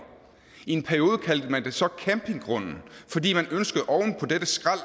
i en periode kaldte man det så campinggrunden fordi man ønskede oven på dette skrald